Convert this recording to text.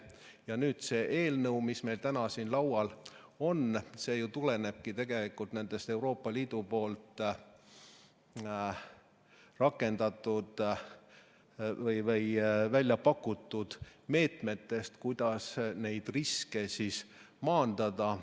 Ja nüüd see eelnõu, mis meil täna siin laual on, see tulenebki tegelikult nendest Euroopa Liidu rakendatud või väljapakutud meetmetest, kuidas neid riske maandada.